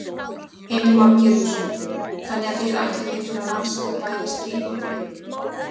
Heimir Már Pétursson: Þannig að þið ætlið ykkur að rannsaka bæði stríð og frið?